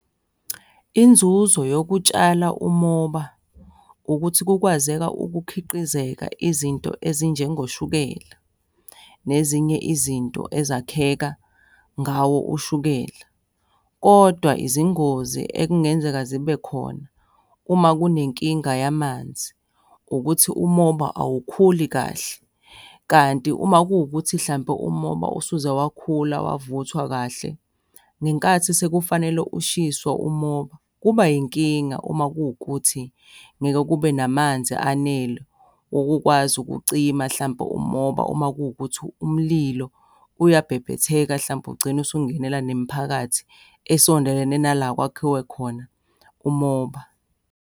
Inzuzo yokutshala umoba ukuthi kukwazeka ukukhiqizeka izinto ezinjengoshukela nezinye izinto ezakheka ngawo ushukela, kodwa izingozi ekungenzeka zibe khona uma kunenkinga yamanzi ukuthi umoba awukhulumi kahle. Kanti uma kuwukuthi hlampe umoba usuze wakhula wavuthwa kahle, ngenkathi sekufanele ushiswe umoba, kuba inkinga uma kuwukuthi ngeke kube namanzi anele wokukwazi ukucima hlampe umoba uma kuwukuthi umlilo uyabhebhetheka hlampe ugcine usungenela nemiphakathi esondelene nala kwakhiwe khona umoba.